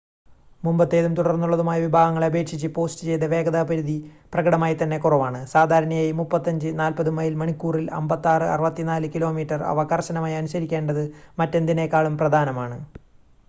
മുമ്പത്തേതും തുടർന്നുള്ളതുമായ വിഭാഗങ്ങളെ അപേക്ഷിച്ച് പോസ്റ്റ് ചെയ്‌ത വേഗതാ പരിധി പ്രകടമായി തന്നെ കുറവാണ്. സാധാരണയായി 35-40 മൈൽ മണിക്കൂറിൽ 56-64 കിലോമീറ്റർ. അവ കർശനമായി അനുസിക്കേണ്ടത് മറ്റെന്തിനേക്കാളും പ്രധാനമാണ്